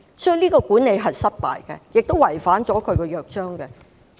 這樣的管理是失敗的，亦違反了《約章》。